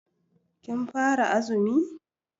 Kin fara azumi?